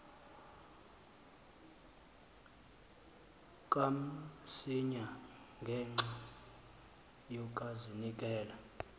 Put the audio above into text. kamsinya ngenxa yokazinikela